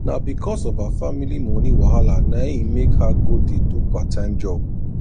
na becos of her family moni wahala na e make her go dey do part time job